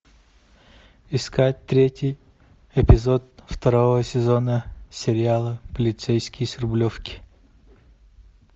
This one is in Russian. искать третий эпизод второго сезона сериала полицейский с рублевки